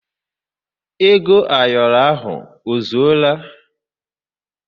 Ego ayoro ahụ ozuọla?